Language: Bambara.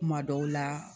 Kuma dɔw la